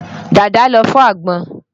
Dàda ló fọ́ àgbọn.